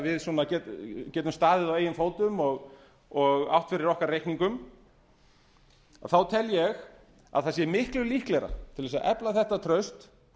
við getum staðið á okkar eigin fótum og átt fyrir okkar eigin reikningum þá tel ég að það sé miklu líklegra til að efla þetta traust